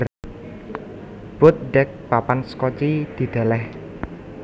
Boat Deck papan sekoci didèlèh